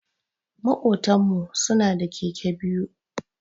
Makotan mu su na da Keke biyu.